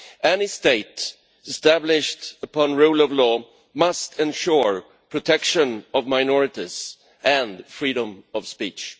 Any state established upon the rule of law must ensure the protection of minorities and freedom of speech.